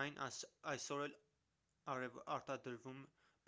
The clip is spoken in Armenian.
այն այսօր էլ է արտադրվում